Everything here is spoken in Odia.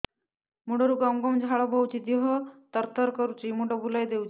ମୁଣ୍ଡରୁ ଗମ ଗମ ଝାଳ ବହୁଛି ଦିହ ତର ତର କରୁଛି ମୁଣ୍ଡ ବୁଲାଇ ଦେଉଛି